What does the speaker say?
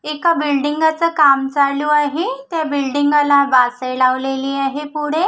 एका बिल्डिंग च काम चालू आहे त्या बिल्डिंग ला वासे लावलेले आहे पुढे.